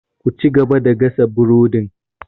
Ku cigaba da gasa burodin!